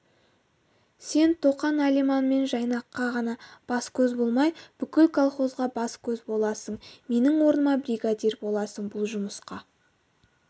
сен тоқан алиман мен жайнаққа ғана бас-көз болмай бүкіл колхозға бас-көз боласың менің орныма бригадир боласың бұл жұмысқа